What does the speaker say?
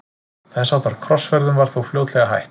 Þess háttar krossferðum var þó fljótlega hætt.